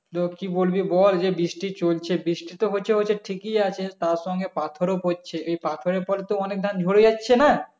লোক কি বলবে বল যে বৃষ্টি তো চলছে বৃষ্টি তো হচ্ছে হচ্ছে ঠিকই আছে তার সঙ্গে পাথর ও পড়ছে এই পাথরের পর তো অনেক ধান তো ঝরে যাচ্ছে না